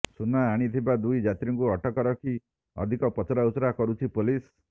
ସୁନା ଆଣିଥିବା ଦୁଇ ଯାତ୍ରୀଙ୍କୁ ଅଟକ ରଖି ଅଧିକ ପଚରାଉଚୁରା କରୁଛି ପୋଲିସ